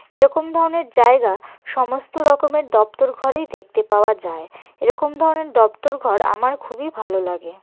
এরকম ধরনের জায়গা সমস্ত রকমের দপ্তর ঘরেই দেখতে পাওয়া যায় এরকম ধরনের দপ্তর ঘর আমার খুবই ভালো লাগে।